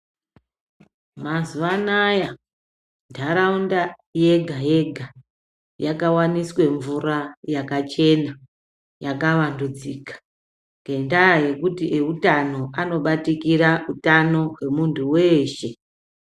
Mazuva anaya ntaraunda yega-yega yakawaniswe mvura yakachena yakavandudzika. Ngendaa yekuti eutano anobatikira utano hwemuntu weshe.